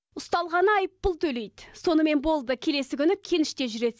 ұсталғаны айыппұл төлейді сонымен болды келесі күні кеніште жүреді